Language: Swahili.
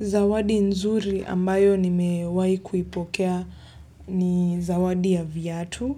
Zawadi nzuri ambayo nimewahi kuipokea ni zawadi ya viatu